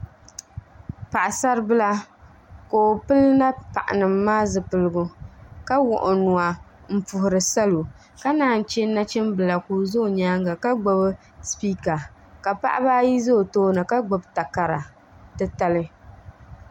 Paɣasaribila ka o pili napaɣa nim maa zipiligu ka wuɣi o nuwa n puhuri salo ka naan chɛ nachimbila ka o ʒɛ o nyaanga ka gbubi spiika ka paɣaba ayi ʒɛ o tooni ka gbubi takara titali